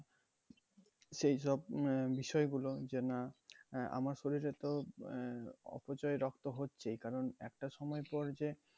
সেইসব উম আহ বিষয়গুলো যে না আহ আমাদের শরীরে তো আহ অপচয় রক্ত হচ্ছেই কারণ একটা সময় পর যে